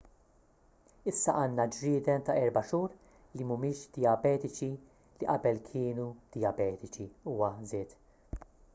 issa għandna ġrieden ta' 4 xhur li mhumiex dijabetiċi li qabel kienu dijabetiċi huwa żied